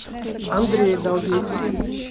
андрея долгих